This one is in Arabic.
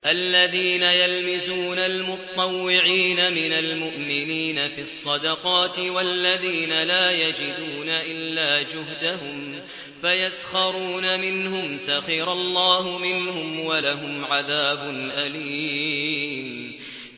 الَّذِينَ يَلْمِزُونَ الْمُطَّوِّعِينَ مِنَ الْمُؤْمِنِينَ فِي الصَّدَقَاتِ وَالَّذِينَ لَا يَجِدُونَ إِلَّا جُهْدَهُمْ فَيَسْخَرُونَ مِنْهُمْ ۙ سَخِرَ اللَّهُ مِنْهُمْ وَلَهُمْ عَذَابٌ أَلِيمٌ